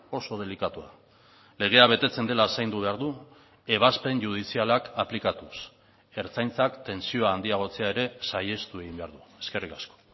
oso delikatua legea betetzen dela zaindu behar du ebazpen judizialak aplikatuz ertzaintzak tentsioa handiagotzea ere saihestu egin behar du eskerrik asko